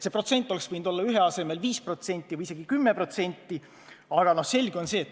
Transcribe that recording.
See kärbe oleks võinud olla 1% asemel 5% või isegi 10%.